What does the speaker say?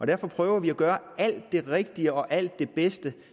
derfor prøver vi at gøre alt det rigtige og alt det bedste